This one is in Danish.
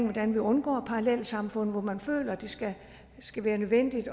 hvordan vi undgår parallelsamfund hvor man føler at det skal skal være nødvendigt